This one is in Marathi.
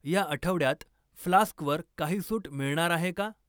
या आठवड्यात फ्लास्कवर काही सूट मिळणार आहे का?